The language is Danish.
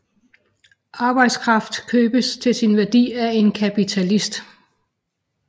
Arbejdskraften købes til sin værdi af en kapitalist